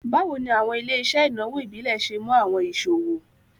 Bawo ni awọn ile-iṣẹ inawo ibile ṣe mu awọn iṣowo?